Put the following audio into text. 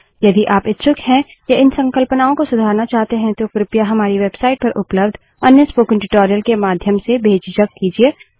यदि आप इच्छुक हैं या इन संकल्पनाओं को सुधारना चाहते हैं तो कृपया हमारी वेबसाइट पर उपलब्ध अन्य स्पोकन ट्यूटोरियल के माध्यम से बेझिझक कीजिए